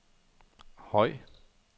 høj